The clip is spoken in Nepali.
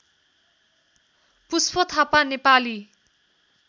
पुष्प थापा नेपाली